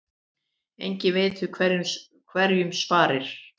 Eigi veit hverjum sparir.